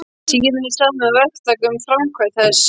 Síðan er samið við verktaka um framkvæmd þess.